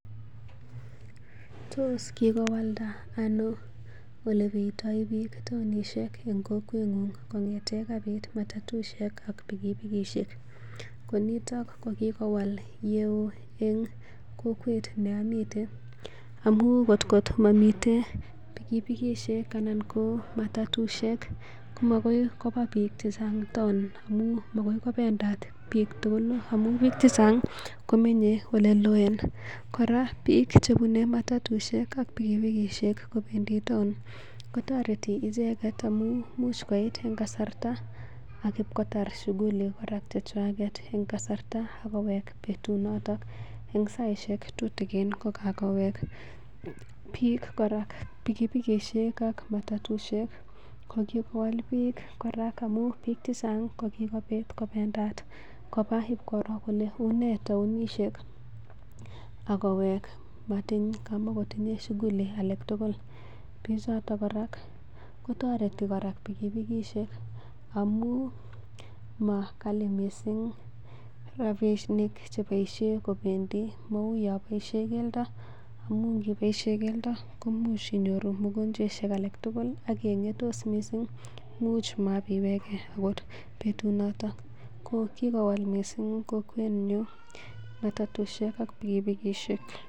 Tos kikolwanda ano ole beitoi biik taonishek eng kokwengung kongete kapit matatusiek ak pikipikishek? Ko niton ko kigowal yeo en kokwet ne omiten amun ngotko momiten pikipikishek anan ko matatusiek, komagor koba biik chechang taon amun magoi kobendat biik tugul amun, biik chechang komenye ole loo. Kora biik chebune matatuishek ak pikipikishek kora ko bendi taon kotoreti icheget amun imuch koit en kasarta, ak ibkotar shughuli kora chechwaget en kasarta ak kowek en betunoto en saishek tutikin kokagowek. Kit kora pikipikishek ak matatusiek kokiwal biik kora amun biik che chang ko kigobit kobendat koba ibkoroo kole une taonishek agowek kobaten kamakotinye shughuli alak tugul bichoto kora, kotoreti kora pikipikishek amun ma ghali mising rabinik cheboishe kobendi, mau yon boisie keldo, amu yon iboisie keldo koimuch inyoru mugonjwaishek alak tugul ak keng'etos mising imuch maibiiwege butunoto. Kokigowal mising kokwenyon matatusiek ak pikipikishe.